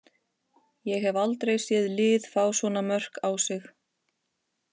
Ég hef aldrei séð lið fá svona mörk á sig.